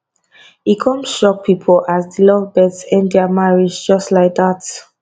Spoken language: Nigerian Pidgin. e come shock pipo as di lovebirds end dia marriage just like dat